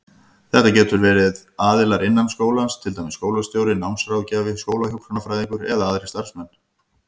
Þetta geta verið aðilar innan skólans, til dæmis skólastjóri, námsráðgjafi, skólahjúkrunarfræðingur eða aðrir starfsmenn.